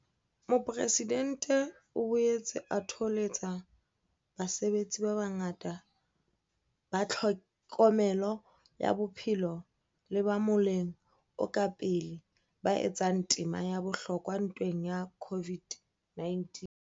Mopresidentse o boetse a thoholetsa basebetsi ba bangata ba tlhokomelo ya bophelo le ba moleng o ka pele ba etsang tema ya bohlokwa ntweng ya COVID-19.